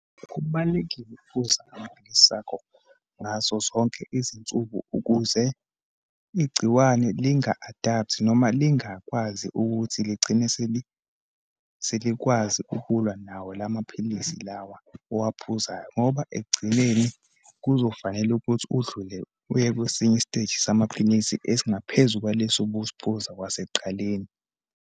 Kubalulekile ukuphuza amaphilisi akho ngazo zonke izinsuku ukuze igciwane linga-adapt-i noma lingakwazi ukuthi ligcine selikwazi ukulwa nawo lamaphilisi lawa owaphuzayo, ngoba ekugcineni kuzofanele ukuthi udlule uye kwesinye isiteji samaphilisi esingaphezu kwalesi usiphuza kwasekuqaleni.